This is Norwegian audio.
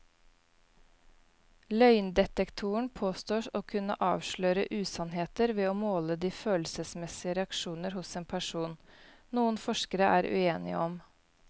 Løgndetektoren påstås å kunne avsløre usannheter ved å måle de følelsesmessige reaksjoner hos en person, noe forskerne er uenige om.